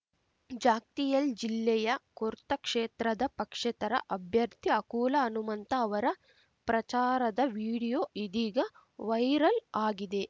ಜಗ್ತಿಯಾಲ್‌ ಜಿಲ್ಲೆಯ ಕೊರ್ತಾ ಕ್ಷೇತ್ರದ ಪಕ್ಷೇತರ ಅಭ್ಯರ್ಥಿ ಅಕುಲಾ ಹನುಮಂತ ಅವರ ಪ್ರಚಾರದ ವಿಡಿಯೋ ಇದೀಗ ವೈರಲ್‌ ಆಗಿದೆ